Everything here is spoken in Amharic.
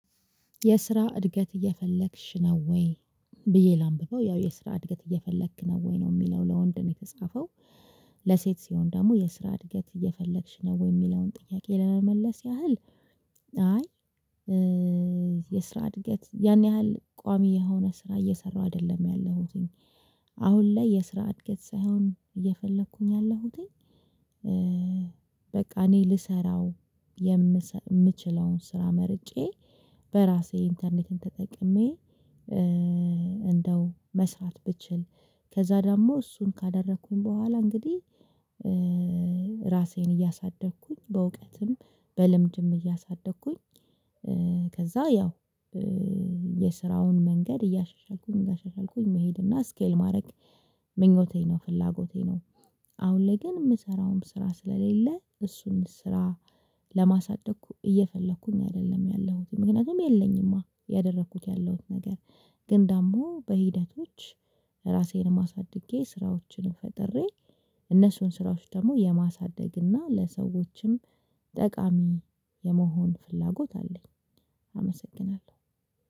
የስራ እድገት እየፈለክሽ ነው ወይ? ብዬ ላንብበው ያው የስራ እድገት እየፈለክ ነው ወይ ነው የሚለው ለወንድ ነው የተጻፈው። ለሴት ሲሆን ደግሞ የስራ እድገት እየፈለግሽ ነው ወይ የሚለውን ጥያቄ ለመመለስ ያህል። አይ የስራ እድገት ያን ያህል ቋሚ የሆነ ስራ እየሰራሁ አይደለም ያለሁትኝ። አሁን ላይ የስራ እድገት ሳይሆን እየፈለኩኝ ያለሁትኝ። እኔ ልሰራው የምችለውን ስራ መርጬ በራሴ ኢንተርኔትን ተጠቅሜ እንደው መስራት ብችል። ከዛ ደግሞ እሱን ካደረኩኝ በኋላ እንግዲህ ራሴን እያሳደግኩኝ በእውቀትም በልምድም እያሳደግኩኝ። ከዛ ያው የስራውን መንገድ እያሻሻልኩኝ እያሻሻልኩኝ መሄድ እና ስኬል ማድረግ ምኞቴ ነው ፍላጎቴ ነው። አሁን ላይ ግን የምሰራውም ስራ ስለሌለ እሱን ስራ ለማሳደግ እየፈለኩኝ አይደለም ያለሁት ምክንያቱም የለኝማ እያደረኩት ያለሁት ነገር። ግን ደግሞ በሂደቶች ራሴንም አሳድጌ ስራዎችንም ፈጥሬ እነሱን ስራዎች ደግሞ የማሳደግ እና ለሰዎችም ጠቃሚ የመሆን ፍላጎት አለኝ። አመሰግናለሁ።